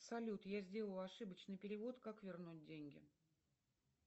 салют я сделала ошибочный перевод как вернуть деньги